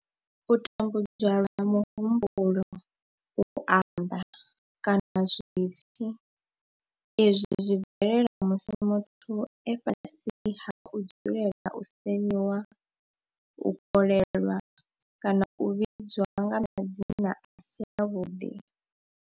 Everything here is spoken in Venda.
U tambudzwa lwa muhumbulo, u amba, kana zwipfi izwi zwi bvelela musi muthu e fhasi ha u dzulela u semiwa, u kolelwa kana u vhidzwa nga madzina a si avhuḓi.